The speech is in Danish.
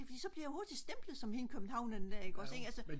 fordi så bliver jeg hurtigt stemplet som hende københavneren ikk ogs ik